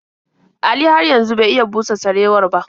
Ali har yanzu bai iya busa sarewar ba.